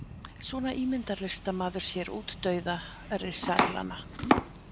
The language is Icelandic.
Svona ímyndar listamaður sér útdauða risaeðlanna.